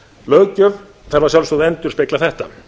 löggjöf þarf að sjálfsögðu að endurspegla þetta